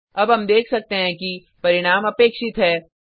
अब हम देख सकते हैं कि परिणाम अपेक्षित है